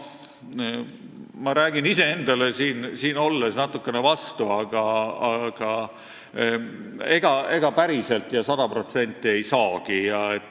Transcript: Ma räägin iseendale siin küll natukene vastu, aga ega päriselt ja sada protsenti seda ei saagi.